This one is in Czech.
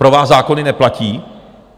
Pro vás zákony neplatí?